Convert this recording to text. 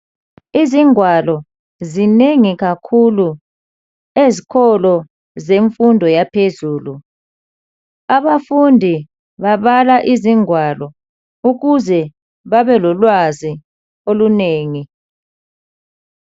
Izingwalo zinengi kakhulu ezikolo zemfundo yaphezulu. Abafundi babala izingwalo ukuze babelolwazi olunengi